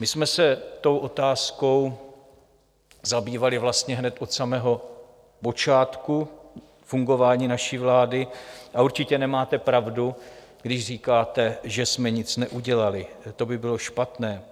My jsme se tou otázkou zabývali vlastně hned od samého počátku fungování naší vlády a určitě nemáte pravdu, když říkáte, že jsme nic neudělali, to by bylo špatné.